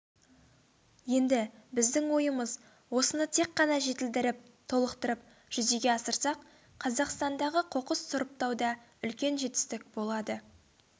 енді біздің ойымыз осыны тек қана жетілдіріп толықтырып жүзеге асырсақ қазақстандағы қоқыс сұрыптауда үлкен жетістік болады